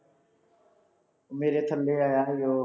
ਮੇਰੇ ਥੱਲੇ ਆਇਆ ਸੀ ਜਦੋਂ